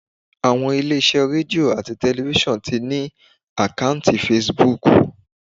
Àwọn ilé iṣẹ́ Radio ati tẹlifísàn ti ní àkọ́ùntì Facebook.